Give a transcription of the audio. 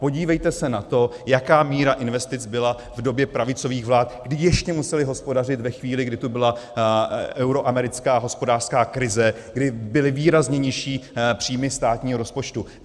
Podívejte se na to, jaká míra investic byla v době pravicových vlád, kdy ještě musely hospodařit ve chvíli, kdy tady byla euroamerická hospodářská krize, kdy byly výrazně nižší příjmy státního rozpočtu.